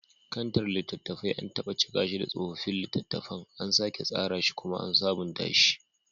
Kantar littattafan, an taɓa cika shi da tsofaffin littattafan, an sake tsara shi kuma an sabunta shi